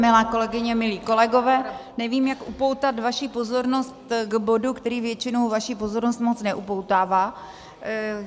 Milé kolegyně, milí kolegové, nevím, jak upoutat vaši pozornost k bodu, který většinou vaši pozornost moc neupoutává.